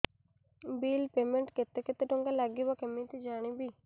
bill payment ପାଇଁ କେତେ କେତେ ଟଙ୍କା ଲାଗିବ କେମିତି ଜାଣିବି